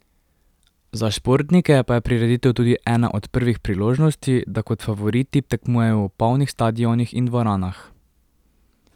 Za športnike pa je prireditev tudi ena od prvih priložnosti, da kot favoriti tekmujejo v polnih stadionih in dvoranah.